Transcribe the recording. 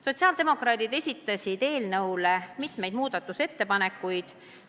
" Sotsiaaldemokraadid esitasid eelnõu kohta mitu muudatusettepanekut.